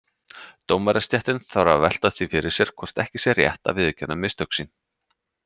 Dómarastéttin þarf að velta því fyrir sér hvort ekki sé rétt að viðurkenna mistök sín.